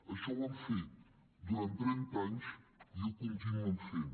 això ho han fet durant trenta anys i ho continuen fent